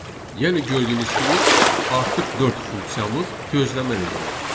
Yəni gördüyünüz kimi artıq dörd funksiyamız gözləmə rejiminə keçir.